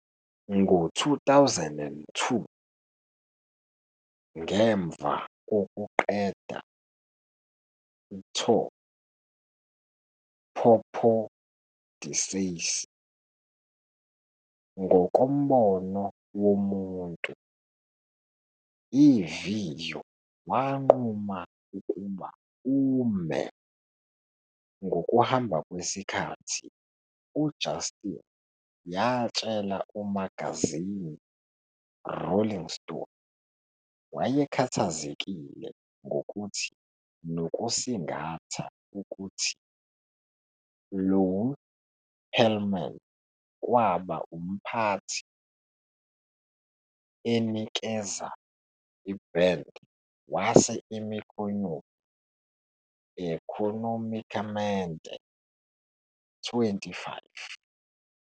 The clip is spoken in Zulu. Ngo-2002, ngemva kokuqeda tour popodyssey, ngokombono womuntu, iviyo wanquma ukuba ume. Ngokuhamba kwesikhathi, uJustin yatshela umagazini Rolling Stone wayekhathazekile ngokuthi nokusingatha ukuthi Lou Pearlman kwaba umphathi enikeza band wase imikhonyovu económicamente.25